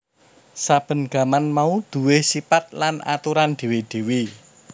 Saben gaman mau duwé sipat lan aturan dhéwé dhéwé